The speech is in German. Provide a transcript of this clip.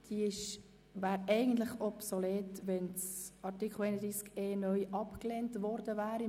Dieser wäre eigentlich obsolet, wenn Artikel 31e (neu) abgelehnt worden wäre.